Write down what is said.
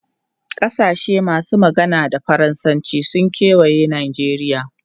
Kasashe masu magana da Faransanci sun kewaye Najeriya.